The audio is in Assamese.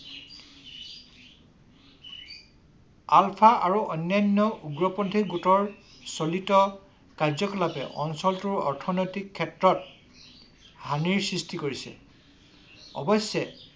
আলফা আৰু অন্যান্য উগ্ৰপন্থী গোটৰ চলিত কাৰ্যকলাপে অঞ্চলটোৰ অৰ্থনৈতিক ক্ষেত্ৰত হানিৰ সৃষ্টি কৰিছে। অৱশ্যে